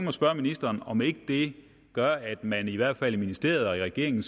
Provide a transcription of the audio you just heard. at spørge ministeren om ikke det gør at man i hvert fald i ministeriet og i regeringen